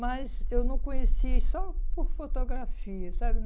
Mas eu não conheci só por fotografia, sabe?